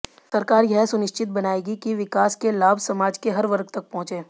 सरकार यह सुनिश्चित बनाएगी कि विकास के लाभ समाज के हर वर्ग तक पहुंचे